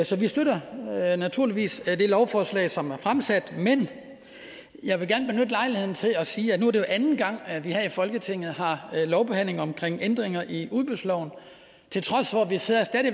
så vi støtter naturligvis det lovforslag som er fremsat men jeg vil gerne benytte lejligheden til at sige at nu er anden gang at vi her i folketinget har lovbehandling omkring ændringer i udbudsloven til trods for at vi stadig